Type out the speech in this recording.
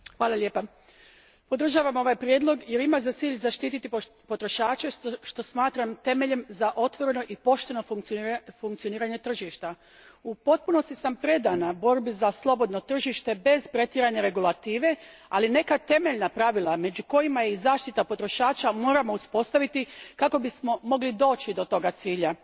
Gospodine predsjedniče, podržavam ovaj prijedlog jer ima za cilj zaštititi potrošače što smatram temeljem za otvoreno i pošteno funkcioniranje tržišta. U potpunosti sam predana borbi za slobodno tržište bez pretjerane regulative, ali neka temeljna pravila među kojima je i zaštita potrošača moramo uspostaviti kako bismo mogli doći do toga cilja.